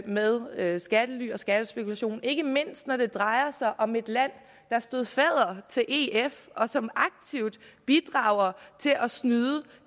med med skattely og skattespekulation ikke mindst når det drejer sig om et land der stod fadder til ef og som aktivt bidrager til at snyde